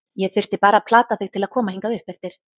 Ég þurfti bara að plata þig til að koma hingað uppeftir.